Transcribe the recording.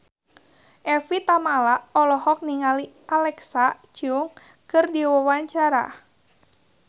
Evie Tamala olohok ningali Alexa Chung keur diwawancara